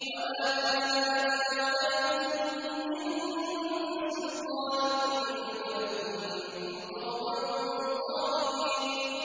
وَمَا كَانَ لَنَا عَلَيْكُم مِّن سُلْطَانٍ ۖ بَلْ كُنتُمْ قَوْمًا طَاغِينَ